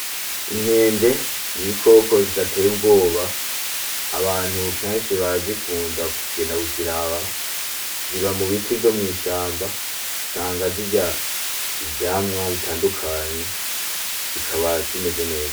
Inkende ni ibikoko bidateye ubwoba abantu kenshi barazikunda kugenda kuziraba ziba mubiti vyo mw'ishamba usanga zirya ivyamwa bitandukanye zikaba zimeze neza